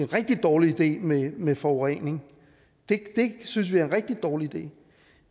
rigtig dårlig idé med forurening det synes vi er en rigtig dårlig idé